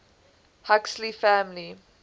huxley family